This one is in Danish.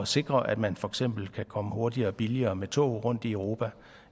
sikre at man for eksempel kan komme hurtigere og billigere med tog rundt i europa